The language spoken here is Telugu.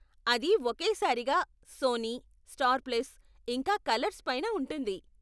అది ఒకే సారిగా సోనీ, స్టార్ ప్లస్, ఇంకా కలర్స్ పైన ఉంటుంది.